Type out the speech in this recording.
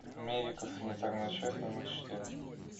медико санитарная часть номер четыре